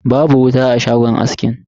Babu wuta a shagon askin.